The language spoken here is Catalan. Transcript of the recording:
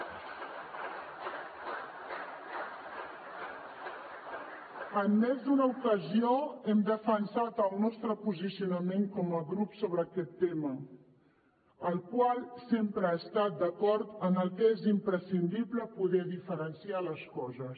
en més d’una ocasió hem defensat el nostre posicionament com a grup sobre aquest tema en el qual sempre he estat d’acord en que és imprescindible poder diferenciar les coses